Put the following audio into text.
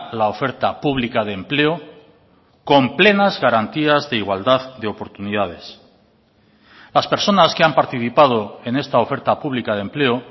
la oferta pública de empleo con plenas garantías d igualdad de oportunidades las personas que han participado en esta oferta pública de empleo